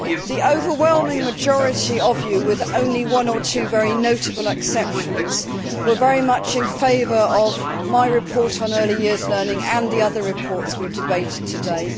The overwhelming majority of you, with only one or two notable exceptions, were very much in favour of my report on early years learning and the other reports we debated today.